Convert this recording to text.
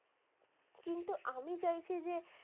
কিন্তু আমি চাইছি যে,